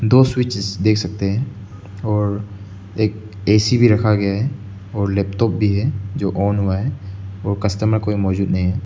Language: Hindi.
दो स्विच देख सकते हैं और एक ऐसी भी रखा गया है और लैपटॉप भी है जो ऑन हुआ है और कस्टमर कोई मौजूद नहीं है।